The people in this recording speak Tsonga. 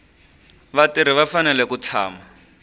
vatirhi va fanele ku tshama